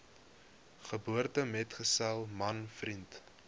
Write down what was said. geboortemetgesel man vriend